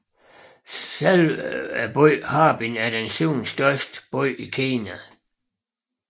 Selve byen Harbin er den syvende største by i Kina